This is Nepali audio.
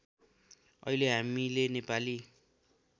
अहिले हामीले नेपाली